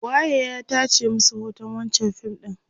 waye ya tace masu hoton wancan fim ɗin?